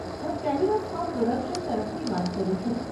હું kaleidoscope production તરફથી વાત કરું છું.